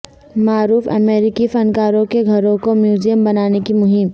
معروف امریکی فن کاروں کے گھروں کو میوزیم بنانے کی مہم